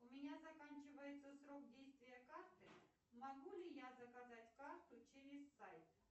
у меня заканчивается срок действия карты могу ли я заказать карту через сайт